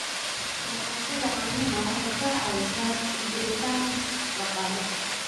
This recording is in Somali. Dhaqashada caanaha waxay ka caawisaa sii jiritaan dhaqaale.